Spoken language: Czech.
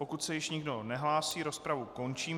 Pokud se již nikdo nehlásí, rozpravu končím.